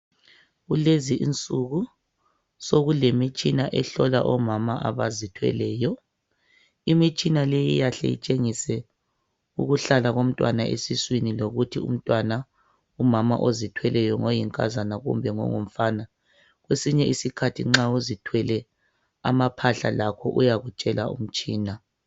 Kulezi insuku sokulemitshina ehlola omama abazithweleyo. Imitshina leyi iyahle itshengise ukuhlala komntwana esiswini lokuthi umntwana ngoyinkazana kumbe ngongumfana. Kwesinye isikhathi nxa uzithwele amaphahla lakho uyakutshela umtshina.